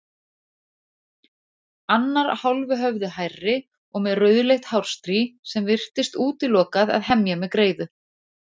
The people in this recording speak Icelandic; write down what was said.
Annar hálfu höfði hærri og með rauðleitt hárstrý sem virtist útilokað að hemja með greiðu.